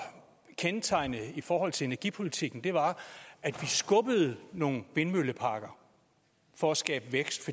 kendetegnende i forhold til energipolitikken var at vi skubbede opførelsen nogle vindmølleparker for at skabe vækst